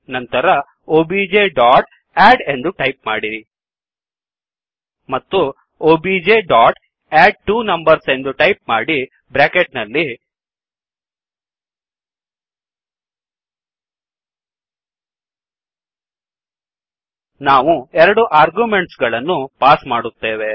ನಂತರ objಅಡ್ ಎಂದು ಟೈಪ್ ಮಾಡಿ ಮತ್ತು objಅಡ್ಟ್ವೊನಂಬರ್ಸ್ ಎಂದು ಟೈಪ್ ಮಾಡಿ ಬ್ರ್ಯಾಕೆಟ್ ನಲ್ಲಿ ನಾವು ಎರಡು ಆರ್ಗ್ಯುಮೆಂಟ್ಸ್ ಗಳನ್ನು ಪಾಸ್ ಮಾಡುತ್ತೇವೆ